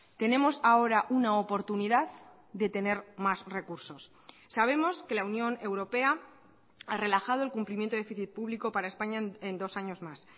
tenemos ahora una oportunidad de tener más recursos sabemos que la unión europea ha relajado el cumplimiento de déficit público para españa en dos años más